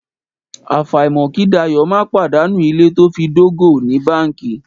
Àfàìmọ̀ kí Dayọ̀ má pàdánù ilé to fi dógò ní báńkì.